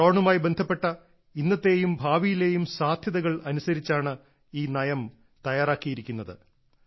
ഡ്രോണുമായി ബന്ധപ്പെട്ട ഇന്നത്തെയും ഭാവിയിലെയും സാധ്യതകൾ അനുസരിച്ചാണ് ഈ നയം തയ്യാറാക്കിയിരിക്കുന്നത്